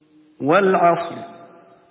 وَالْعَصْرِ